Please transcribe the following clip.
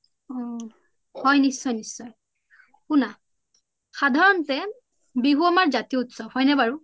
হৈ নিশ্চয় নিশ্চয় সুনা সাধাৰণতে বিহু আমাৰ জতিয উত্সৱ হৈ নে বাৰু?